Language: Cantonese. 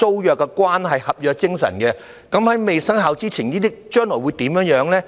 事關合約精神，在《條例草案》未生效前，這些租約將來會怎樣呢？